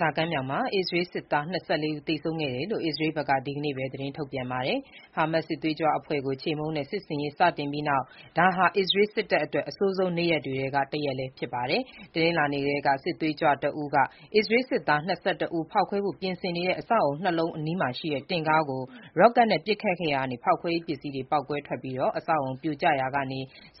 ဇာကမ်းမြောင်မှာ အစ္စရေးစစ်သား၂၄ ဦး သေဆုံးခဲ့ကြောင်း အစ္စရေးဘက်က ဒီနေ့ပဲ သတင်းထုတ် ပြန်ပါတယ်။ ဟာမတ်စ် စစ်သွေးကြွအဖွဲ့ကို ချေမှုန်းတဲ့ စစ်ဆင်ရေး စတင်ပြီးနောက် ဒါဟာ အစ္စရေး စစ်တပ်အတွက် အဆိုးဆုံးနေ့ရက်တွေထဲက တရက်လည်းဖြစ်ပါတယ်။ တနင်္လာနေ့ကလည်း စစ်သွေးကြွတဦးက အစ္စရေးစစ်သား ၂၁ ဦး ဖောက်ခွဲဖို့ ပြင်ဆင်နေတဲ့ အဆောက်အအုံ ၂ လုံး အနီးရှိတင့်ကားကို ရော့ကတ်နဲ့ ပစ်ခတ်ခဲ့ရာက ဖောက်ခွဲရေးပစ္စည်းတွေ ပေါက်ကွဲပြီး အဆောက်အအုံပြိုကျရာက